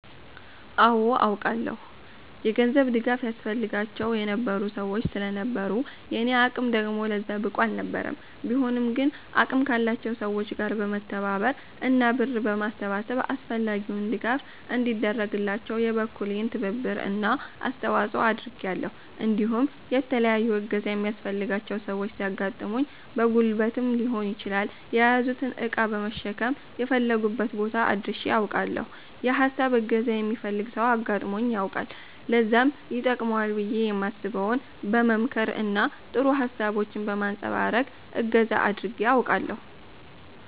አወ አውቃለሁ። የገንዘብ ድጋፍ ያስፈልጋቸው የነበሩ ሰወች ስለነበሩ የኔ አቅም ደግሞ ለዛ ብቁ አልነበረም ቢሆንም ግን አቅም ካላቸው ሰወች ጋር በመተባበር እና ብር በማሰባሰብ አስፈላጊው ድጋፍ እንዲደረግላቸው የበኩሌን ትብብር እና አስተዋፀኦ አድርጊያለሁ እንዲሁም የተለያዩ እገዛ የሚያስፈልጋቸው ሰወች ሲያጋጥሙኝ በጉልበትም ሊሆን ይችላል የያዙትን እቃ በመሸከም የፈለጉበት ቦታ አድርሸ አውቃለሁ። የ ሀሳብም እገዛ የሚፈልግ ሰው አጋጥሞኝ ያውቃል ለዛም ይተቅመዋል ብየ የማስበውን በ መምከር እና ጥሩ ሀሳቦችን በማንፀባረቅ እገዛ አድርጌ አውቃለሁ።